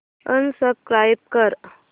unsubscribe कर